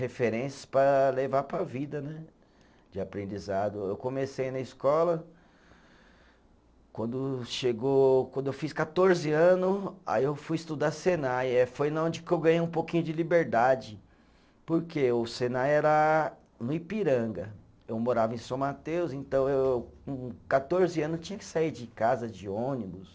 Referências para levar para a vida né, de aprendizado, eu comecei na escola quando chegou, quando eu fiz quatorze ano aí eu fui estudar senai, eh foi na onde que eu ganhei um pouquinho de liberdade porque o senai era no Ipiranga, eu morava em São Mateus então eu com quatorze anos tinha que sair de casa de ônibus